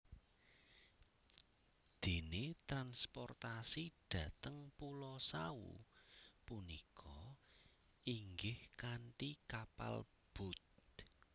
Dene transportasi dhateng pulo Sawu punika inggih kanthi kapal boat